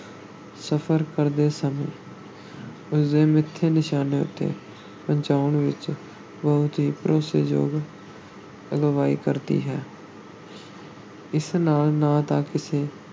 ਸਫ਼ਰ ਕਰਦੇ ਸਮੇਂ ਉਸਦੇ ਮਿੱਥੇ ਨਿਸ਼ਾਨੇ ਉੱਤੇ ਪਹੁੰਚਾਉਣ ਵਿੱਚ ਬਹੁਤ ਹੀ ਭਰੋਸੇਯੋਗ ਅਗਵਾਈ ਕਰਦੀ ਹੈ ਇਸ ਨਾਲ ਨਾ ਤਾਂ ਕਿਸੇ